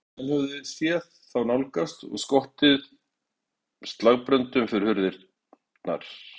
Menn höfðu séð þá nálgast og skotið slagbröndum fyrir hurðir.